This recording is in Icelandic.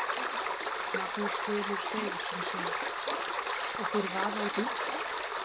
Magnús Hlynur Hreiðarsson: Og þeir vaða út um allt?